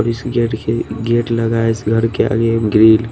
और इसी गेट के गेट लगा है इस घर के आगे ग्रिल --